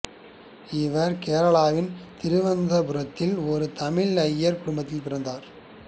இவர் கேரளாவின் திருவனந்தபுரத்தின் ஒரு தமிழ் ஐயர் குடும்பத்தில் பிறந்தார்